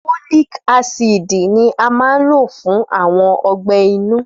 Fólìk ácìdì ni a n ló fún àwọn ọgbẹ́ inú